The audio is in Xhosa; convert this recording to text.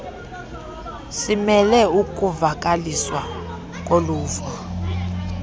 simele ukuvakaliswa koluvo